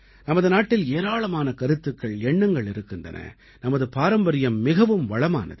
நமது நாட்டில் ஏராளமான கருத்துக்கள் எண்ணங்கள் இருக்கின்றன நமது பாரம்பரியம் மிகவும் வளமானது